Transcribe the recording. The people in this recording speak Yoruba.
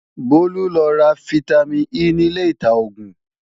Bólú lọ ra fítámìn E nílé ìta-oògùn